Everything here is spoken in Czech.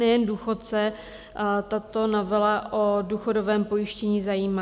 Nejen důchodce tato novela o důchodovém pojištění zajímá.